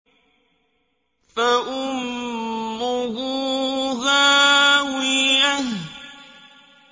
فَأُمُّهُ هَاوِيَةٌ